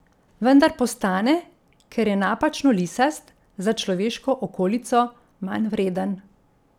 Vendar postane, ker je napačno lisast, za človeško okolico manjvreden.